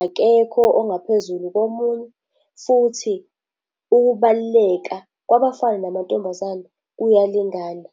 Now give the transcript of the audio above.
Akekho ongaphezulu komunye futhi ukubaluleka kwabafana namantombazane kuyalingana.